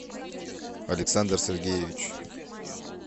александр сергеевич